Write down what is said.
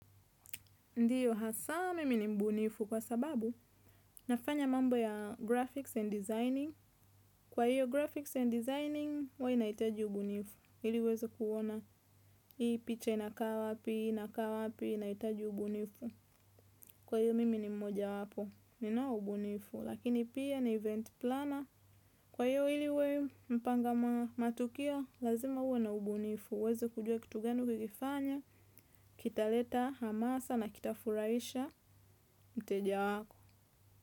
Ndiyo, hasa mimi ni mbunifu kwa sababu, nafanya mambo ya Graphics and Designing. Kwa hiyo, Graphics and Designing, huwa inaitaji ubunifu. Iliuweze kuona, hii picha inakaa wapii inakawa, pii inakawa pii inaitaji ubunifu. Kwa hiyo, mimi ni mmoja wapo. Ninao ubunifu, lakini pia ni event planner. Kwa hiyo, ili uwe mpanga matukio lazima uwe na ubunifu. Uweze kujua kitu gani ukikifanya, kita leta, hamasa na kita furahisha, mteja wako.